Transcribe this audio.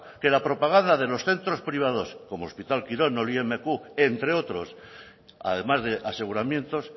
que la propaganda de los centros privados como hospital quirón o el imq entre otros además de aseguramientos